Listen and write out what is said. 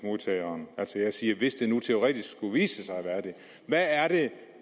til kontanthjælpsmodtageren jeg siger hvis der nu teoretisk skulle vise sig at være det hvad er det